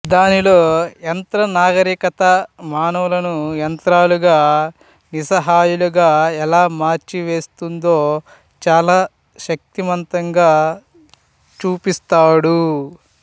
దానిలో యంత్ర నాగరికత మానవులను యంత్రాలుగా నిస్సహాయులుగా ఎలా మార్చివేస్తుందో చాలా శక్తిమంతంగా చూపిస్తాడు